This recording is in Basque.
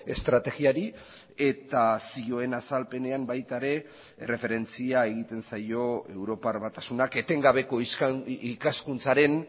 estrategiari eta zioen azalpenean baita ere erreferentzia egiten zaio europar batasunak etengabeko ikaskuntzaren